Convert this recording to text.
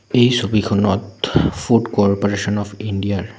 এই ছবিখনত food corporation of India ৰ --